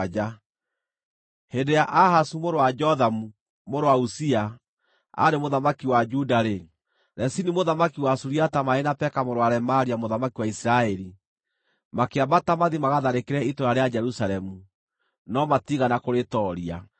Hĩndĩ ĩrĩa Ahazu mũrũ wa Jothamu, mũrũ wa Uzia, aarĩ mũthamaki wa Juda-rĩ, Rezini mũthamaki wa Suriata marĩ na Peka mũrũ wa Remalia mũthamaki wa Isiraeli, makĩambata mathiĩ magatharĩkĩre itũũra rĩa Jerusalemu, no matiigana kũrĩtooria.